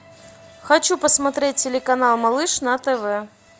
хочу посмотреть телеканал малыш на тв